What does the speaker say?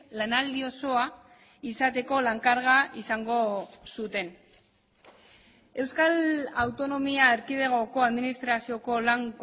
lanaldi osoa izateko lan karga izango zuten euskal autonomia erkidegoko administrazioko lan